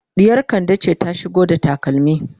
ɗiyar kande ce ta shigo da takalmi